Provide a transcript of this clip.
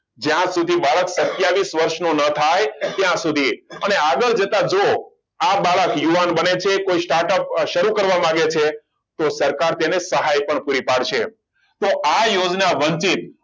જ્યાં સુધી બાળક સત્યવિસ વર્ષ ન થાય ત્યાં સુધી અને આગળ જતા જુઓ આ બાળક યુવાન બને છે કોઈ startup શરૂ કરવા માંગે છે તો સરકાર તેને સહાય પણ પૂરી પાડશે તો આ યોજના વંજિત